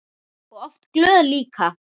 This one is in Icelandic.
Og oft glöð líka.